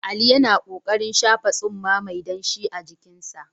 Ali yana ƙoƙarin shafa tsumma mai danshi a jikinsa.